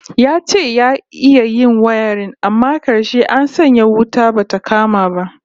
Ya ce ya iya yin wayarin amma karshe an sanya wuta bata kama ba